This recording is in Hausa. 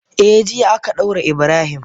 Eh, jiya aka daure Ibrahim.